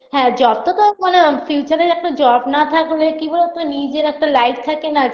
হ্যাঁ job -তো তো মানে future -এর একটা job না থাকলে কি বলতো নিজের একটা life থাকে না